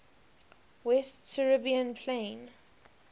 west siberian plain